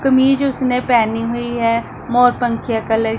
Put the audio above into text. कमीज उसने पहनी हुई हैं मोर पंखिया कलर --